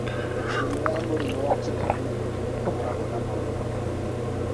Mĩrimũ ya mũrimũ wa Chilaiditi nĩ ĩkoragwo na maũndũ matiganĩte.